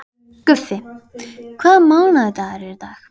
Guffi, hvaða mánaðardagur er í dag?